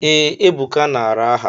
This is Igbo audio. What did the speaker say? Ee, Ebuka nara aha.